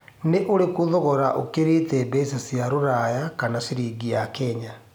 nĩ urikũ thogora ũkĩrite mbeca cia rũraya kana ciringi ya Kenya